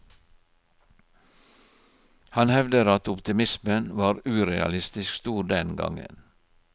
Han hevder at optimismen var urealistisk stor den gangen.